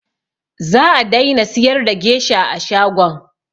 Za a daina siyar da gesha a shagon